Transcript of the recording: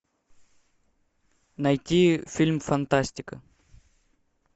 найти фильм фантастика